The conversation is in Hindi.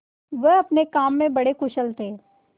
वह अपने काम में बड़े कुशल थे